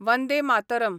Vande Mataram